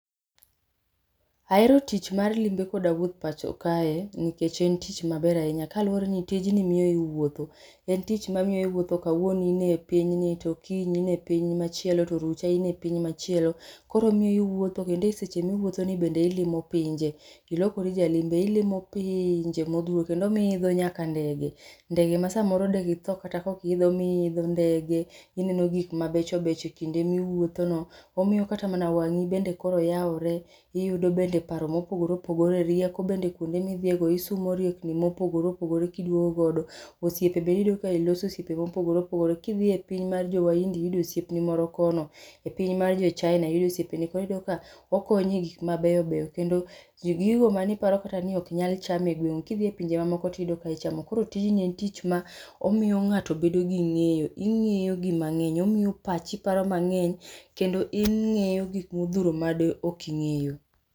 Ahero tich mar limbe koda wuoth pachoka nikech en tich ma ber ahinya, kaluore gi ni tij ni miyi iwuotho en tich ma miyo kawuono iwuotho in e piny ni to okinyi in e piny machielo to orucha in e piny machielo to orucha in e piny machielo koro omiyo iwuotho kendo e seche mi iwuotho ni bende ilimo pinje, ilokori jalimbe ilimo pinje mo oriwo kendo sa moro be iidho nyaka denge, ndege ma sa moro de gi thoo kata ka pok gi idho. Omiyo iidho ndege ineno gik ma becho becho seche mi iwuotho no, omiyo kata wang'i bende koro yaore, iyudo bende paro ma opogore opogore, rieko bende kuonde mi dhiyo no iting'o riekni ma opogore opogore, osiepe be iyudo ni iloso osiepe ma opogrore opogore, ki idhiye piny mar jo wahindi iyudo osiep ni moro kono e piny mae jo china iyudo osiep ni koro iyudo ka okonyo e gik ma beyo beyo kendo gigo ma ni kata iparo ni ok nyal chal cham e gwengu iuyudo ki idhiye pinje ma oko ti iyudo ka ichamo koro tijni en tich ma omiyo ngato bedo gi ngeyo, ongeyo gik ma ng'eny, omiyo pachi paro mang'eny, kendo ing'eyo gik ma ok di ng'eyo